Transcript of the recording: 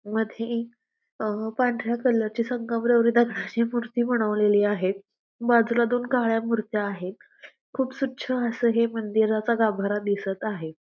मध्ये एक अ पांढऱ्या कलर ची संगमरवरी दगडाची मूर्ती बनवलेली आहे बाजूला दोन काळ्या मूर्ती आहेत खूप स्वछ अस हे मंदिराचा गाभारा दिसत आहे.